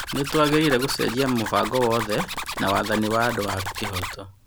Nĩ tũagĩrĩire gũcenjia mũbango wothe, na wathani wa andũ wa kĩhooto.